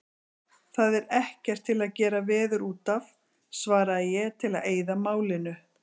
Það er ekkert til að gera veður útaf, svaraði ég til að eyða málinu.